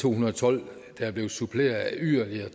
to hundrede og tolv der er blevet suppleret af yderligere